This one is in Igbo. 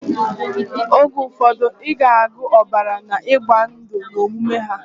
Oge ufodu iga agu obara na igba ndu na omume ha.